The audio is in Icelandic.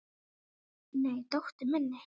Nei, dóttur minni.